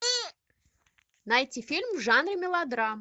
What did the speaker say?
найти фильм в жанре мелодрама